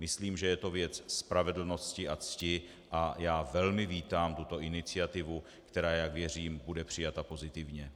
Myslím, že je to věc spravedlnosti a cti, a já velmi vítám tuto iniciativu, která, jak věřím, bude přijata pozitivně.